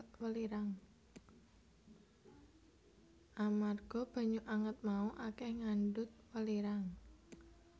Amarga banyu anget mau akèh ngandhut welirang